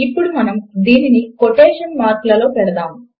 ఇప్పుడు మనము దీనిని కొటేషన్ మార్క్ లలో పెడదాము